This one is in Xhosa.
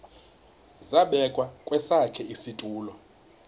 zabekwa kwesakhe isitulo